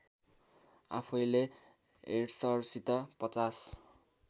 आफैले हेड्सरसित ५०